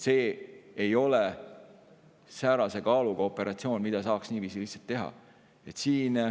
See ei ole säärase kaaluga operatsioon, mida saaks nii lihtsalt teha.